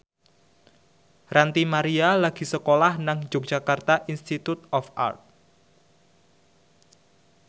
Ranty Maria lagi sekolah nang Yogyakarta Institute of Art